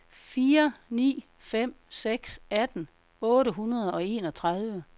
fire ni fem seks atten otte hundrede og enogtredive